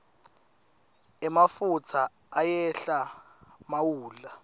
emafutsa ayehla mawudlala